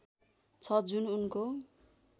छ जुन उनको